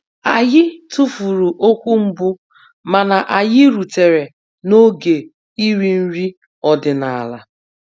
Anyị tụfuru okwu mbụ mana anyị rutere n'oge iri nri ọdịnala